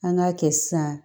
An k'a kɛ sisan